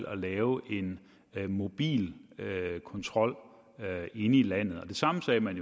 at lave en mobil kontrol inde i landet det samme sagde man